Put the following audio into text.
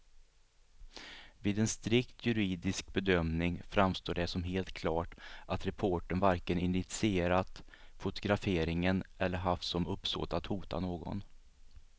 Vid en strikt juridisk bedömning framstår det som helt klart att reportern varken initierat fotograferingen eller haft som uppsåt att hota någon.